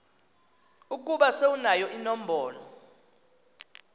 ukuba sewunayo inombolo